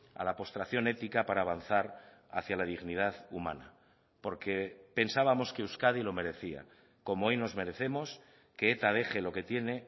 a la postración ética para avanzar hacia la dignidad humana porque pensábamos que euskadi lo merecía como hoy nos merecemos que eta deje lo que tiene